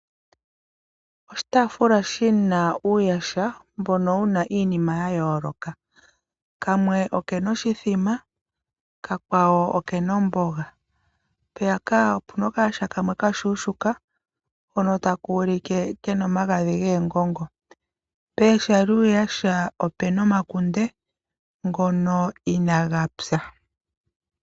Oshitaafula shina uuyaha, mbuno wuna iinima ya yooloka. kamwe okena oshimbombo, kamwe okena omboga no kashona kena omagadhi goongongo. pooha dhuu yaha opuna omakunde ngono I naa ga pya.